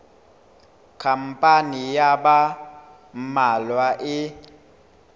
khampani ya ba mmalwa e